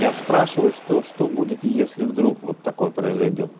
я спрашиваю что что будет если вдруг вот такое произойдёт